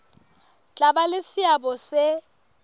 tla ba le seabo se